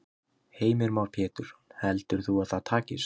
Heimir Már Pétursson: Heldur þú að það takist?